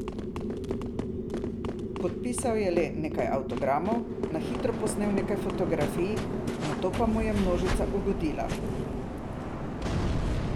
Podpisal je le nekaj avtogramov, na hitro posnel nekaj fotografij, nato pa mu je množica ugodila.